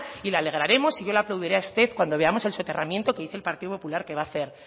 le alegraremos y yo le aplaudiré a usted cuando veamos el soterramiento que dice el partido popular que va a hacer